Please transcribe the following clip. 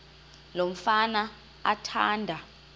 lo mfana athanda